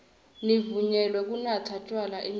nivunyelwe kunatsa tjwala enyuvesi